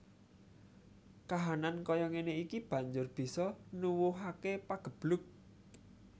Kahanan kaya ngéné iki banjur bisa nuwuhaké pageblug